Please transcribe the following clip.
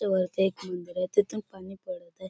ते वरती एक मंदिर आहे तिथून पाणी पडतय.